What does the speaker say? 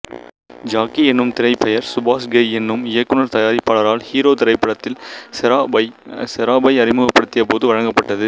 Jackie எனும் திரைப்பெயர் சுபாஷ் கெய் எனும் இயக்குனர்தயாரிப்பாளரால் ஹீரோ திரைப்படத்தில் செராப்பை அறிமுகப்படுத்திய போது வழங்கப்பட்டது